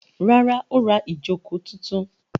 Rárá, ó ra ìjókòó tuntun.